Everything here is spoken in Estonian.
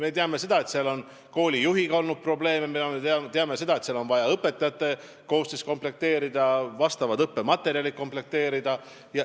Me teame, et seal on olnud koolijuhiga probleeme, me teame, et on vaja õpetajate koosseis komplekteerida, õppematerjalid komplekteerida.